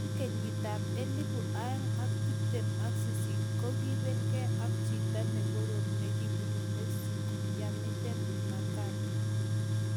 Eng kenyitab elebu oeng ak tiptem ak sisit ko kiiibelgei ak chito ne korom nekibunu Mexico, Yamileth Mercado